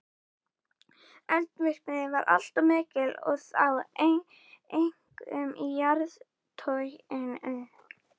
Eldvirkni var allmikil og þá einkum í jarðtroginu.